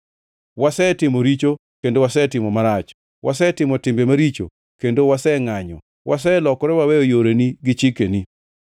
wasetimo richo kendo wasetimo marach. Wasetimo timbe maricho kendo wasengʼanyo; waselokore waweyo yoreni gi chikeni.